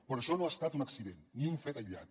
però això no ha estat un accident ni un fet aïllat